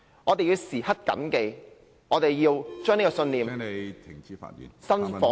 我們要時刻緊記，要把這個信念......